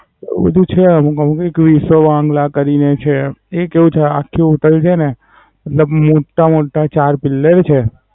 એવું બધું છે. કંપની કઈ સવાંગ્લાકરી રહી છે. ઈ કેવું છે આખી હોટેલ છેને પેલા મોટા મોટા ચાર પિલ્લર છે